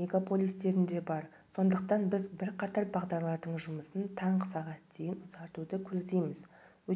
мегаполистерінде бар сондықтан біз бірқатар бағдарлардың жұмысын таңғы сағат дейін ұзартуды көздейміз